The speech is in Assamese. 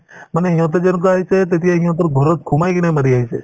মানে সিহঁতে যে এনেকুৱা হৈছে তেতিয়া সিহঁতে ঘৰত সোমাই কিনে মাৰি আহিছে